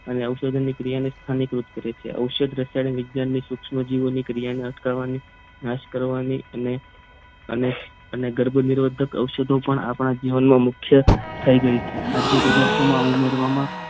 અને ઔષધની ક્રિયાને સ્થાનિક રૂપ કરે છે ઔષધ વિજ્ઞાનની રસાયણીક સૂક્ષ્મ જીવો ની ક્રિયાને અટકાવવાની અને નાશ કરવાની અને અને ગર્ભનિરોધક ઔષધો પણ આપણા જીવનમાં મુખ્ય થઈ ગઈ છે ખાધ્ય પદાર્થોમાં ઉમેરવામાં